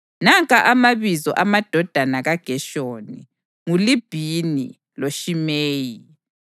Nanka amabizo amadodana kaGeshoni: nguLibhini loShimeyi.